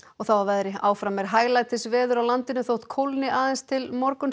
þá að veðri áfram er hæglætisveður á landinu þótt kólni aðeins til morguns